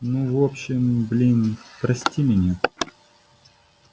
ну в общем блин прости меня